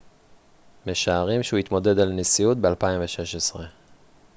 משערים שהוא יתמודד על הנשיאות ב-2016